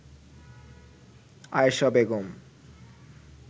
Ayesha Begum